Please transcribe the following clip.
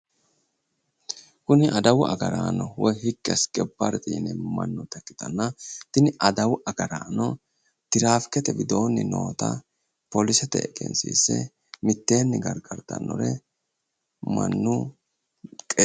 Kuni adawu agaraano woy higgi asikebbarete yineemmo mannoota ikkitanna, tini adawu agaraano tirifikkete widoonni noota poolisete egensiise mitteenni gargartannore mannu buqqee...